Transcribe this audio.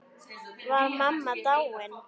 Var mamma dáin?